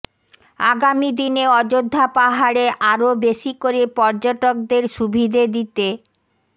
আগামী দিনে অযোধ্যা পাহাড়ে আরও বেশি করে পর্যটকদের সুবিধে দিতে